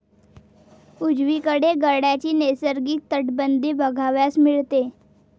उजवीकडे गडाची नैसर्गिक तटबंदी बघावयास मिळते.